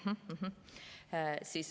Mh-mh.